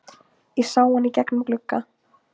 Ég sá hann í gegnum glugga.